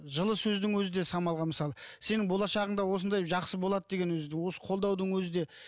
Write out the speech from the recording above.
жылы сөздің өзі де самалға мысалы сенің болашағың да осындай жақсы болады деген өзі осы қолдаудың өзі де